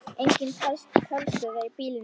Engin talstöð var í bílnum.